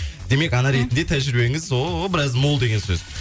демек ана ретінде тәжірибеңіз о біраз мол деген сөз